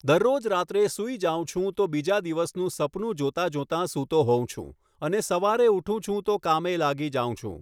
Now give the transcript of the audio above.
દરરોજ રાત્રે સૂઈ જાઉં છું તો બીજા દિવસનું સપનું જોતાં જોતાં સૂતો હોઉં છું અને સવારે ઊઠું છું તો કામે લાગી જાઉં છું.